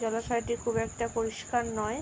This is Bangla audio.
জলাশয়টি খুব একটা পরিষ্কার নয় ।